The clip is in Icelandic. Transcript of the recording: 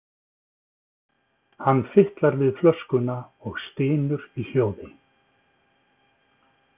Hann fitlar við flöskuna og stynur í hljóði.